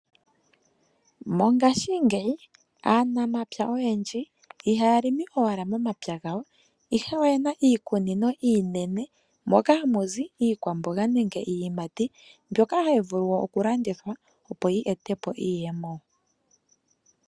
Mongashingeyi aanamapya oyendji ihaa longo owala momapya gawo, ihe oyena iikunino iinene mono hamuzi iilikolomwa hai vulu okulandithwa.